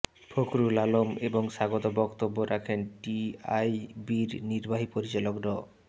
ফখরুল আলম এবং স্বাগত বক্তব্য রাখেন টিআইবির নির্বাহী পরিচালক ড